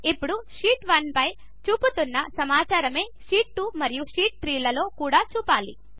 ఇప్పుడు షీట్ 1 చూపుతున్న సమాచారమే షీట్ 2 మరియు షీట్ 3 లు కూడా చూపాలి